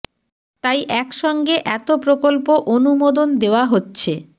তাই এক সঙ্গে এত প্রকল্প অনুমোদন দেওয়া হচ্ছে